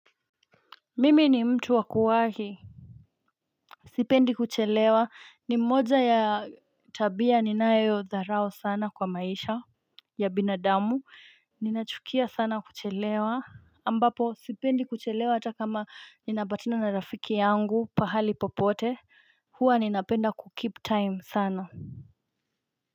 Mimi ni mtu wakuwahi Sipendi kuchelewa ni mmoja ya tabia ninayo dharau sana kwa maisha ya binadamu ninachukia sana kuchelewa ambapo sipendi kuchelewa hata kama nina batina na rafiki yangu pahali popote hua ninapenda ku keep time sana.